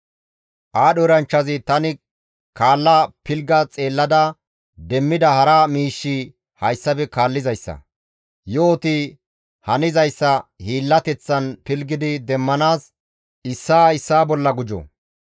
Aadho eranchchazi, «Tani kaalla pilgga xeellada demmida hara miishshi hayssafe kaallizayssa. Yo7oti hanizayssa hiillateththan pilggidi demmanaas issaa issaa bolla gujjo;